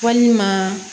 Walima